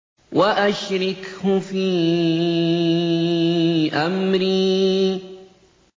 وَأَشْرِكْهُ فِي أَمْرِي